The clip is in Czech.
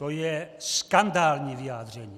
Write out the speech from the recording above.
To je skandální vyjádření!